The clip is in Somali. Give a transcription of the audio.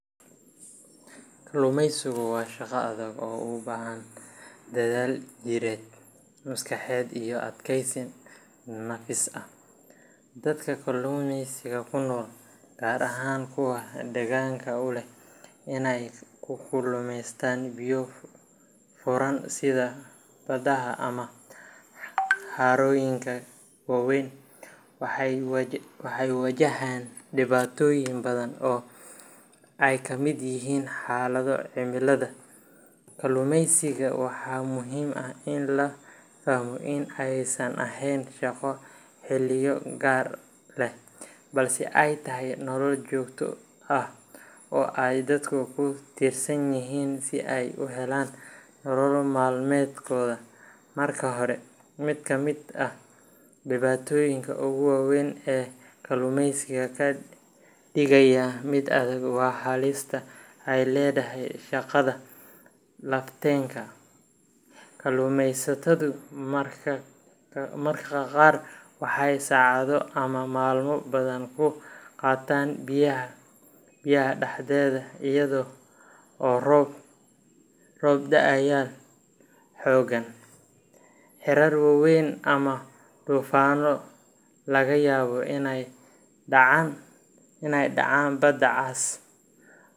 Kalluumaysigu waa shaqo adag oo u baahan dadaal jireed, maskaxeed iyo adkaysi nafsi ah. Dadka kalluumeysiga ku nool, gaar ahaan kuwa dhaqanka u leh inay ku kalluumaystaan biyo furan sida badaha ama harooyinka waaweyn, waxay wajahaan dhibaatooyin badan oo ay ka mid yihiin xaalado cimilada daran, qalab xumo, khataraha biyaha, iyo sugnaansho la’aanta nolosha. Marka laga hadlayo adkaanta kalluumaysiga, waxaa muhiim ah in la fahmo in aysan ahayn shaqo xilliyo gaar ah leh, balse ay tahay nolol joogto ah oo ay dadku ku tiirsan yihiin si ay u helaan nolo maalmeedkooda. Marka hore, mid ka mid ah dhibaatooyinka ugu waaweyn ee kalluumaysiga ka dhigaya mid adag waa halista ay leedahay shaqada lafteeda. Kalluumeysatadu mararka qaar waxay saacado ama maalmo badan ku qaataan biyaha dhexdeeda iyadoo roob, dabayl xooggan, hirar waaweyn ama duufaanno laga yaabo inay dhacaan badda cas.